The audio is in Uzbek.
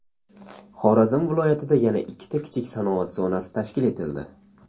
Xorazm viloyatida yana ikkita kichik sanoat zonasi tashkil etildi.